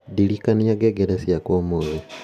ndirikania ngengere ciakwa ũmuthĩ